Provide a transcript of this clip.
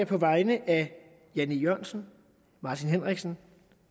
på vegne af jan e jørgensen martin henriksen